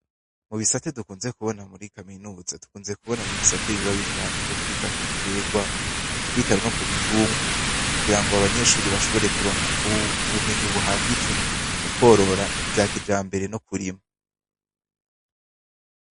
Mubisata dukunze kubona uri kaminuza dukunze kubona n'ibisata biba bijanye nokwiga kubitegwa bitaye no kubitungwa kugirango abanyeshure bashore kuronka ubumenyi buhagije mukworora vya kijambere no kurima.